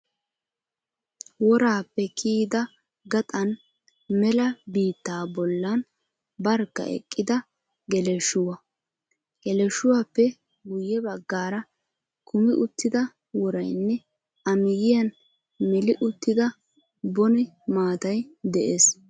Woraappe kiyidi gaxan mela biittaa bollan barkka eqqida geleshshuwaa. Geleshshuwaappe guyye baggaara kumi uttida worayinne amiyyiyan meli uttida bone maatayi de'ees.